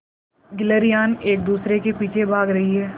गिल्हरियान एक दूसरे के पीछे भाग रहीं है